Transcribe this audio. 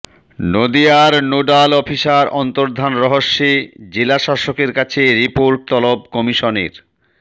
নদিয়ার nodal officer অন্তর্ধান রহস্যে জেলাশাসকের কাছে রিপোর্ট তলব কমিশনের